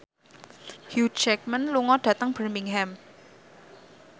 Hugh Jackman lunga dhateng Birmingham